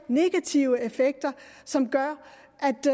negative effekter som gør